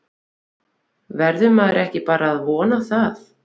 Verður maður ekki bara að vona það?